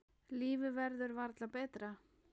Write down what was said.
Lífið verður varla betra.